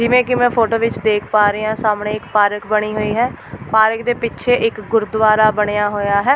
ਜਿਵੇਂ ਕਿ ਮੈਂ ਫੋਟੋ ਵਿੱਚ ਦੇਖ ਪਾ ਰਹੀ ਹਾਂ ਸਾਹਮਣੇ ਇਕ ਪਾਰਕ ਬਣੀ ਹੋਈ ਹੈ ਪਾਰਕ ਦੇ ਪਿੱਛੇ ਇੱਕ ਗੁਰਦੁਆਰਾ ਬਣਿਆ ਹੋਇਆ ਹੈ।